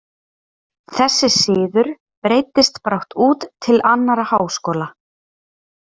Þessi siður breiddist brátt út til annarra háskóla.